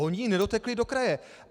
Ony nedotekly do kraje.